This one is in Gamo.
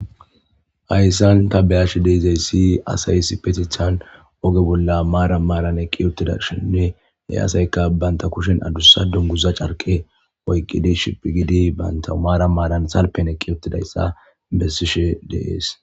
hayssan ta beyashi de'ezayssi asaysi petithan oge bolla maara maaran eqqi ottida shinne he asayka banta kushen adussa dunguza carke oyqqidi shiphigidi banta umaara maaran salpen eqqi otidayssa bessishe deees